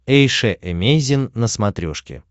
эйша эмейзин на смотрешке